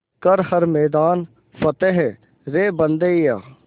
कर हर मैदान फ़तेह रे बंदेया